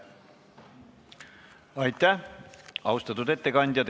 Aitäh, austatud ettekandja!